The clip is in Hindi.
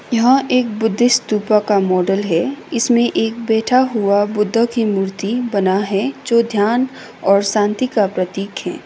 यहां एक बुद्धिस्ट स्तूप का मॉडल है। इसमें एक बैठा हुआ बुद्ध की मूर्ति बना है जो ध्यान और शांति का प्रतीक है।